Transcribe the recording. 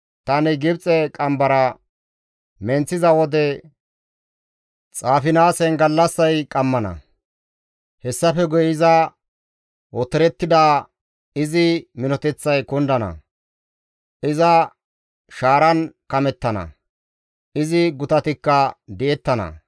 Tani Gibxe qambara menththiza wode Xaafinaasen gallassay qammana; hessafe guye iza otorettida izi minoteththay kundana; iza shaaran kamettana; izi gutatikka di7ettana.